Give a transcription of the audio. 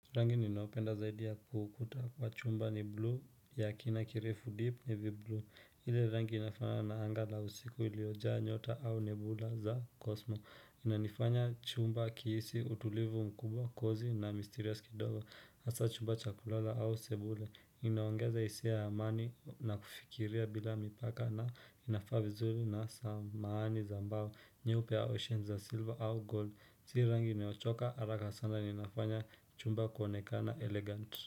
Rangi ninaopenda zaidi ya kukuta kwa chumba ni blue ya kina kirefu deep navi blu ile rangi inafanana na anga la usiku iliyojaa nyota au nebula za kosmo Inanifanya chumba kihisi utulivu mkubwa kozy na mysterious kidogo Hasa chumba chakulala au sebule Inaongeza hisia ya amani na kufikiria bila mipaka na inafaa vizuli na samahani za mbao nyeupe au ocean za silver au gold Zirangi inayochoka haraka sana na inafanya chumba kuonekana elegant.